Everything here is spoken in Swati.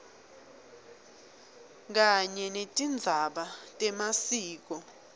kanye netindzaba temasiko